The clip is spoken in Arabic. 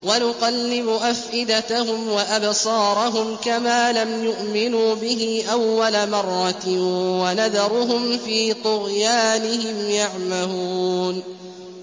وَنُقَلِّبُ أَفْئِدَتَهُمْ وَأَبْصَارَهُمْ كَمَا لَمْ يُؤْمِنُوا بِهِ أَوَّلَ مَرَّةٍ وَنَذَرُهُمْ فِي طُغْيَانِهِمْ يَعْمَهُونَ